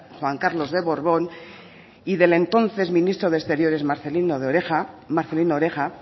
juan carlos de borbón y del entonces ministro de exteriores marcelino oreja